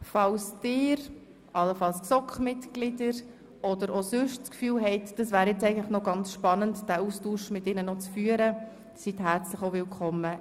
Falls Sie – allenfalls die Mitglieder der GSoK – es spannend fänden, am Austausch teilzunehmen, sind Sie herzlich willkommen.